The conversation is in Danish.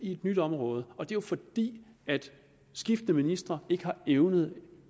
i et nyt område og det er jo fordi skiftende ministre ikke har evnet